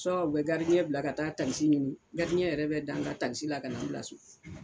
u bɛ bila ka taa takisi ɲini yɛrɛ bɛ da a n kan ka taa n bila so